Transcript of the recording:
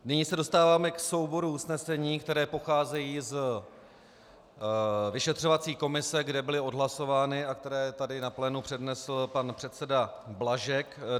Nyní se dostáváme k souboru usnesení, která pocházejí z vyšetřovací komise, kde byla odhlasována a která tady na plénu přednesl pan předseda Blažek.